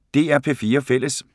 DR P4 Fælles